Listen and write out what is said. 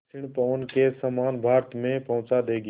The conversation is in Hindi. दक्षिण पवन के समान भारत में पहुँचा देंगी